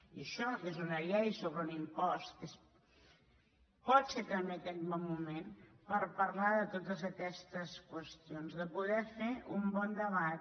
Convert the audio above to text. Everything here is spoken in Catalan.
i això que és una llei sobre un impost pot ser també aquest un bon moment per parlar de totes aquestes qüestions de poder fer un bon debat